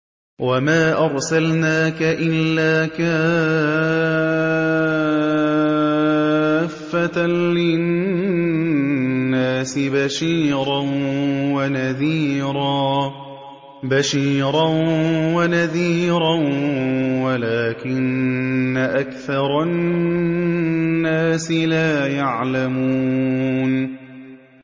وَمَا أَرْسَلْنَاكَ إِلَّا كَافَّةً لِّلنَّاسِ بَشِيرًا وَنَذِيرًا وَلَٰكِنَّ أَكْثَرَ النَّاسِ لَا يَعْلَمُونَ